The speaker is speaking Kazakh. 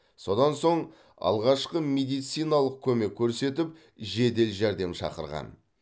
содан соң алғашқы медициналық көмек көрсетіп жедел жәрдем шақырған